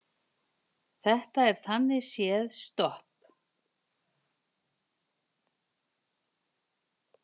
Þetta er þannig séð stopp